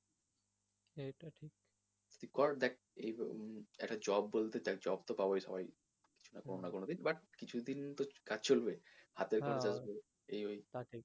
তুই কর দেখ উম একটা job বলতে একটা job তো পাবই সবাই কোনো না কোনো দিন but কিছু দিন তো কাজ চলবেই এই ওই